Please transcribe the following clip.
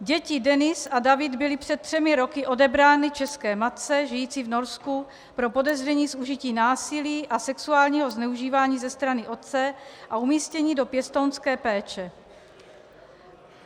Děti Denis a David byly před třemi roky odebrány české matce žijící v Norsku pro podezření z užití násilí a sexuálního zneužívání ze strany otce a umístěny do pěstounské péče.